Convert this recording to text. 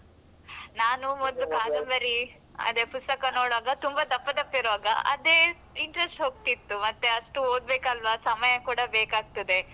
ನಾನು ಮೊದ್ಲು ಕಾದಂಬರಿ ಅದೇ ಪುಸ್ತಕ ನೋಡುವಾಗ ತುಂಬ ದಪ್ಪ ದಪ್ಪ ಇರುವಾಗ ಅದೇ interest ಹೋಗ್ತಿತ್ತು ಮತ್ತೆ ಅಷ್ಟು ಓದ್ಬೇಕಲ್ವಾ ಸಮಯ ಕೂಡ ಬೇಕಾಗ್ತದೆ.